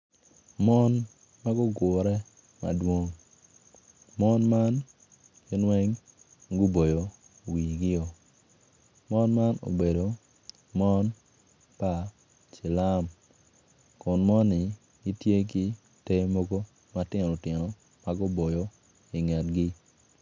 Mon magugure madwong mon man gin weng guboyo wigi o mon man obedo mon pa cilum kun moni gitye ki ter mogo matino tino maguboyo i ngetgi.